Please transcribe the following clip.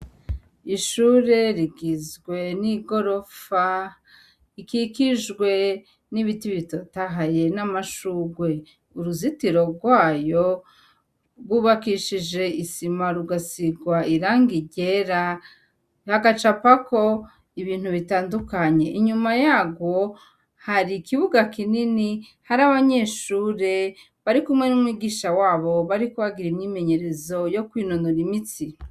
Ishure rigizwe n'igorofa, ikikijwe n'ibiti bitotahaye n'amashugwe, uruzitiro rwayo rwubakishije ,isima rugasigwa irangi ryera hagacapako ibintu bitandukanye. Inyuma yarwo hari ikibuga kinini hari abanyeshure bari kumwe n'umwigisha wabo bariko bagira imyimenyerezo yo kwinonora imitsi.